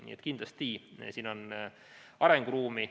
Nii et kindlasti siin on arenguruumi.